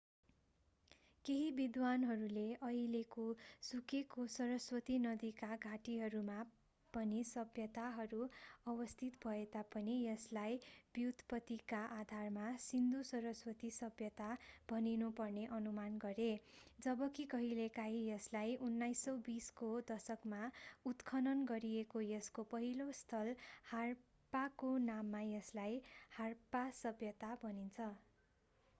केही विद्वानहरूले अहिलेको सुकेको सरस्वती नदीका घाटीहरूमा पनि सभ्यताहरू अवस्थित भए तापनि यसलाई व्युत्पतिका आधारमा सिन्धु-सरस्वती सभ्यता भनिनुपर्ने अनुमान गरे जबकि केहीले यसलाई 1920 को दशकमा उत्खनन गरिएको यसको पहिलो स्थल हारप्पाको नाममा यसलाई हारप्पा सभ्यता भन्छन्